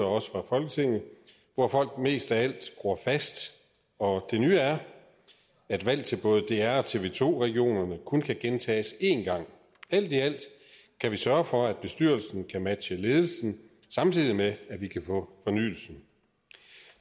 også fra folketinget hvor folk mest af alt gror fast og det nye er at valg til både dr og tv to regionerne kun kan gentages én gang alt i alt kan vi sørge for at bestyrelsen kan matche ledelsen samtidig med at vi kan få fornyelsen